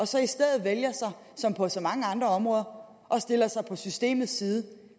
så i stedet som på så mange andre områder at stille sig på systemets side